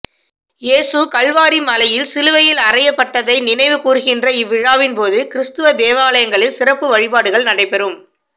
இயேசு கல்வாரி மலையில் சிலுவையில் அறையப்பட்டதை நினைவுகூர்கின்ற இவ்விழாவின்போது கிறிஸ்த்தவக் தேவாலயங்களில் சிறப்பு வழிபாடுகள் நடைபெறும்